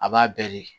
A b'a bɛɛ de